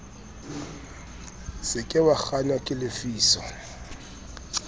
se ke wakgahlwa ke lefiso